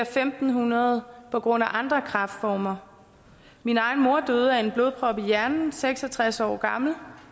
fem hundrede på grund af andre kræftformer min egen mor døde af en blodprop i hjernen seks og tres år gammel